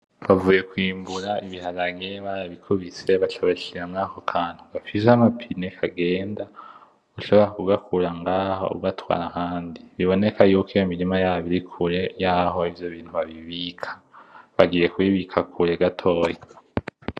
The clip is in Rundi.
Bavuye kwimbura ibiharage, bara bikubise baca babishira murako kantu, gafise ama pine kagenda. Ushobora kugakura ngaho ugatwara ahandi. Biboneka yuko iyo mirima yabo iri kure yaho ivyo bintu babibika. Bagiye kubibika kure gatoyi.